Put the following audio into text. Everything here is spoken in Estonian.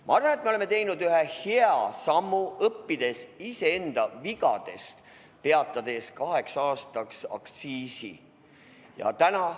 Ma arvan, et me oleme teinud ühe hea sammu, õppides iseenda vigadest ja peatades kaheks aastaks aktsiisi.